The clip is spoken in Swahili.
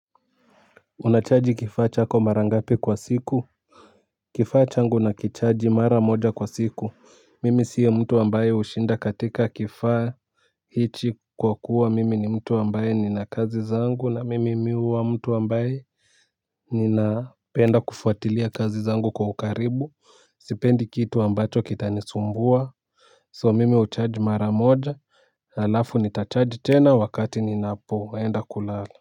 Unachaji kifaa chako mara ngapi kwa siku? Kifaa changu na kichaji mara moja kwa siku. Mimi siye mtu ambaye hushinda katika kifaa. Hichi kwa kuwa mimi ni mtu ambaye ni na kazi zangu na mimi mi uwa mtu ambaye ninapenda kufuatilia kazi zangu kwa ukaribu. Sipendi kitu ambacho kita nisumbua So mimi uchaji mara moja. Halafu nitachaji tena wakati ninapoenda kulala.